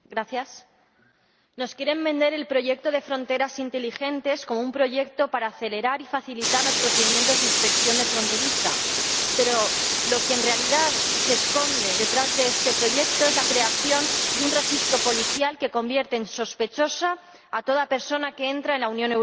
Señor Presidente, nos quieren vender el proyecto de fronteras inteligentes como un proyecto para acelerar y facilitar los procedimientos de inspección fronteriza, pero lo que en realidad se esconde detrás de este proyecto es la creación de un registro policial que convierte en sospechosa a toda persona que entra en la Unión Europea